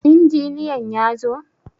Injiniyan ya zo?